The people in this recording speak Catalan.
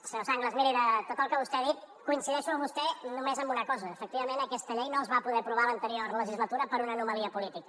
senyor sanglas miri de tot el que vostè ha dit coincideixo amb vostè només en una cosa efectivament aquesta llei no es va poder aprovar a l’anterior legislatura per una anomalia política